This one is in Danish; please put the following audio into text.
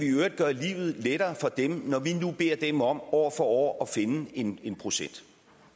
gøre livet lettere for dem når vi nu beder dem om år for år at finde en en procent